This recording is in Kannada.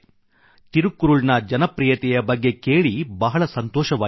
ತಿರುಕ್ಕುರುಳ್ ನ ಜನಪ್ರೀಯತೆಯ ಬಗ್ಗೆ ಕೇಳಿ ಬಹಳ ಸಂತೋಷವಾಯಿತು